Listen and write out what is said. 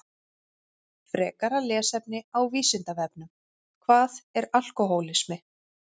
Frekara lesefni á Vísindavefnum Hvað er alkóhólismi?